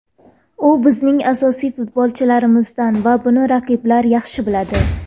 U bizning asosiy futbolchilarimizdan va buni raqiblar yaxshi biladi.